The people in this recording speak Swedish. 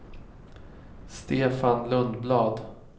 Stefan Lundblad